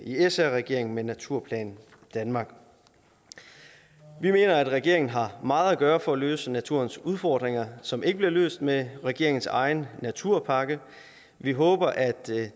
sr regeringen med naturplan danmark vi mener at regeringen har meget at gøre for at løse naturens udfordringer som ikke bliver løst med regeringens egen naturpakke vi håber at